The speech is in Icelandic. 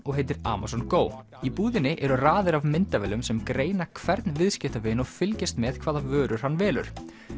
og heitir Amazon Go í búðinni eru raðir af myndavélum sem greina hvern viðskiptavin og fylgjast með hvaða vörur hann velur